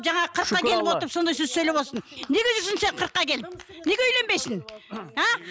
жаңағы қырыққа келіп отырып сондай сөз сөйлеп отырсың неге жүрсің сен қырыққа келіп неге үйленбейсің а